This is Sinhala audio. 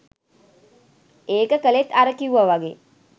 ඒක කළෙත් අර කිව්වා වගේ